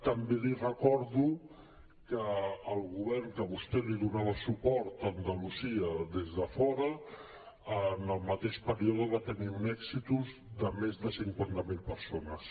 també li recordo que el govern a qui vostè donava suport a andalusia des de fora en el mateix període va tenir uns èxitus de més de cinquanta mil persones